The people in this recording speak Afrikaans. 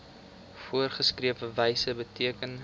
voorgeskrewe wyse beteken